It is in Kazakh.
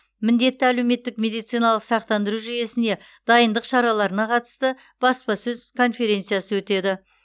міндетті әлеуметтік медициналық сақтандыру жүйесіне дайындық шараларына қатысты баспасөз конференциясы өтеді